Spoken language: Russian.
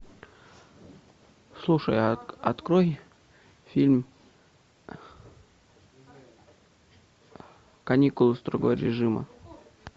слушай открой фильм каникулы строгого режима